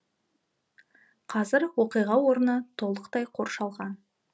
қазір оқиға орны толықтай қоршалған